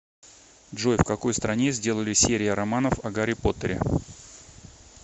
джой в какой стране сделали серия романов о гарри поттере